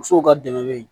Musow ka dɛmɛ bɛ yen